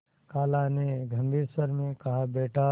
खाला ने गम्भीर स्वर में कहाबेटा